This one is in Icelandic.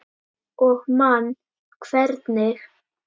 Og man hvernig